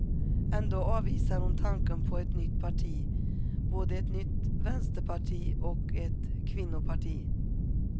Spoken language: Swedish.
Ändå avvisar hon tanken på ett nytt parti, både ett nytt vänsterparti och ett kvinnoparti.